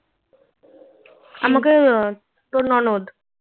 আমাকে তোর ননদ